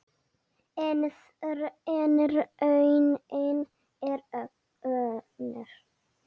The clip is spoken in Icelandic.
En raunin er önnur.